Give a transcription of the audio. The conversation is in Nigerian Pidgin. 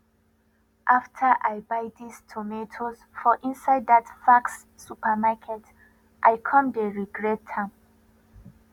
after i buy this tomatoes for inside that faxx supermarket i come dey regret am